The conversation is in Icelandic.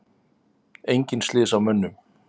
Engin slys á mönnum.